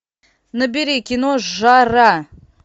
набери кино жара